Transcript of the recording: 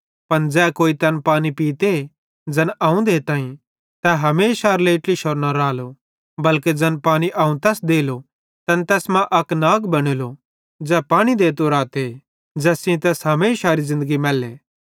पन ज़ै कोई तैन पानी पीते ज़ैन अवं देताईं तै हमेशारे लेइ ट्लिशोरो न रालो बल्के ज़ैन पानी अवं तैस देलो तैन तैस मां अक नाग बनेलो ज़ै पानी देतो रालो ज़ैस सेइं तैस हमेशारी ज़िन्दगी मैलेली